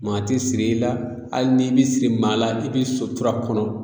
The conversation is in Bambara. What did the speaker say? Maa ti siri i la hali n'i be siri maa la i be sutura kɔnɔ